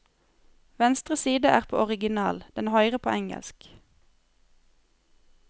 Venstre side er på original, den høyre på engelsk.